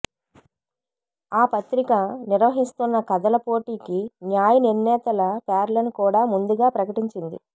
ఆ పత్రిక నిర్వహిస్తున్న కథల పోటీకి న్యాయ నిర్ణేతల పేర్లను కూడా ముందుగా ప్రకటించింది